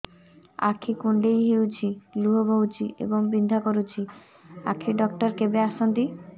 ଆଖି କୁଣ୍ଡେଇ ହେଉଛି ଲୁହ ବହୁଛି ଏବଂ ବିନ୍ଧା କରୁଛି ଆଖି ଡକ୍ଟର କେବେ ଆସନ୍ତି